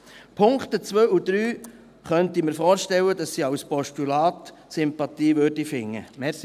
Ich könnte mir vorstellen, dass die Punkte 2 und 3 als Postulat Sympathie finden könnten.